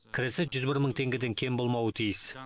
кірісі жүз бір мың теңгеден кем болмауы тиіс